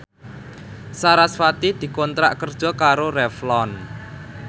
sarasvati dikontrak kerja karo Revlon